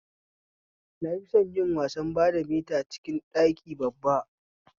Na fison yin wasan badamita a cikin ɗaki babba